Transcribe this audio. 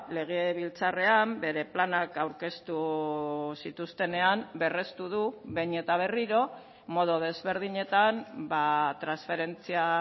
legebiltzarrean bere planak aurkeztu zituztenean berrestu du behin eta berriro modu desberdinetan transferentzia